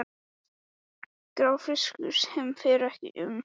Grár fiskur sem fer ekki um með glitrandi sporðaköstum.